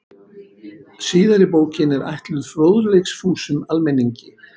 Síðari bókin er ætluð fróðleiksfúsum almenningi.